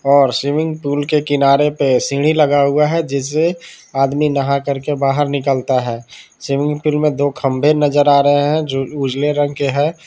और swimming pool के किनारे पे सीढ़ी लगा हुआ है जिससे आदमी नहा करके बाहर निकलता है स्विमिंग पूल में दो खंबे नजर आ रहे हैं जो उजले रंग के हैं।